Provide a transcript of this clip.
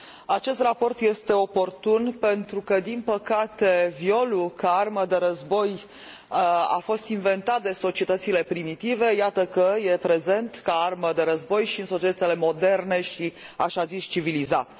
Acest raport este oportun pentru că, din păcate, violul ca armă de război a fost inventat de societățile primitive, iată că e prezent ca armă de război și în societățile moderne și așa zis civilizate.